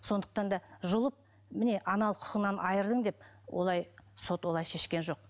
сондықтан да жұлып міне аналық құқығынан айырдым деп олай сот олай шешкен жоқ